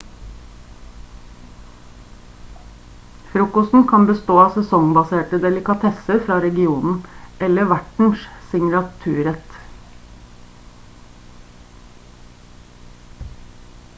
frokosten kan bestå av sesongbaserte delikatesser fra regionen eller vertens signaturrett